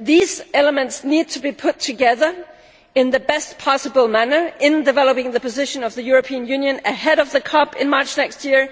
These elements need to be put together in the best possible manner in developing the position of the European Union ahead of the COP in March next year